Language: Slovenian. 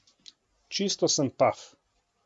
Čisto sem paf.